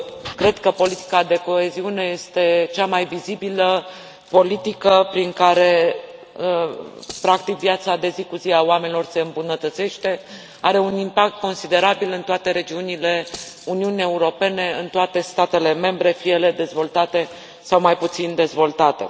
Cred că politica de coeziune este cea mai vizibilă politică prin care, practic, viața de zi cu zi a oamenilor se îmbunătățește, are un impact considerabil în toate regiunile Uniunii Europene, în toate statele membre, fie ele dezvoltate sau mai puțin dezvoltate.